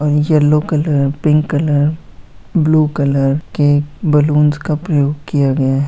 --और yellow colour pink colour blue colour के बलूंस का प्रयोग किया गया हैं।